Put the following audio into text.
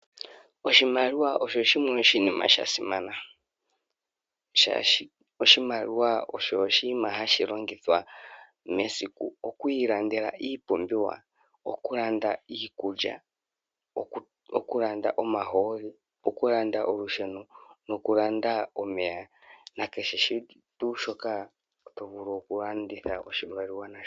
Oshimaliwa osho shimwe oshinima sha simana oshoka oshimaliwa osho oshinima hashi longithwa meaikj oku ilandela iipumbiwa, oku Kanda iikulya ,okylanda omahooli, okulanda olusheno nokulanda omeya nakehe shimwe shoka tovilu oku landitha oshimaliwa.